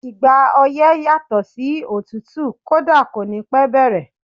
Ìgbà ọyẹ́ yàtò sí òtútù, kódà kò ní pẹ́ bẹ̀rẹ̀.